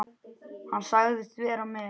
Hann sagðist vera með